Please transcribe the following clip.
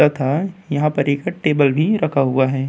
तथा यहां पर एक टेबल भी रखा हुआ है।